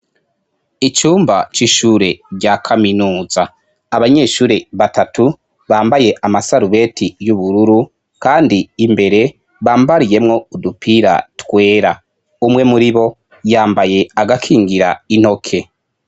Abanyeshure bo muri kaminuza bahurikiye mu gisata c'imyuga baramutse berekana ubumenyi bamaze igihe bariko barahabwa mu kwerekana ibikorwa baranguye mu kwubaka inyubako itegekanijwe kuzotangirwamwo ubumenyi kugira ngo abana b'igihugu bashobore kugira akazoza keza.